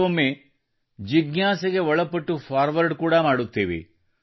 ಕೆಲವೊಮ್ಮೆ ಜಿಜ್ಞಾಸೆಗೆ ಒಳಪಟ್ಟು ಫಾರ್ವರ್ಡ್ ಕೂಡಾ ಮಾಡುತ್ತೇವೆ